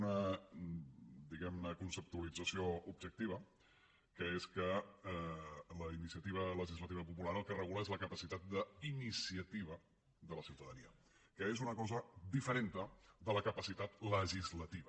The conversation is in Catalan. una diguem ne conceptualització objectiva que és que la iniciativa legislativa popular el que regula és la capacitat d’iniciativa de la ciutadania que és una cosa diferent de la capacitat legislativa